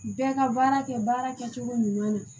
Bɛɛ ka baara kɛ baara kɛcogo ɲuman na